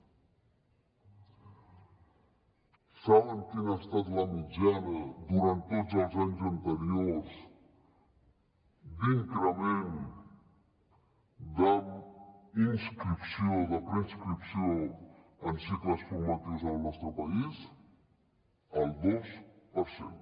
saben quina ha estat la mitjana durant tots els anys anteriors d’increment de preinscripció en cicles formatius en el nostre país el dos per cent